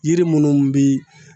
Yiri munnu bi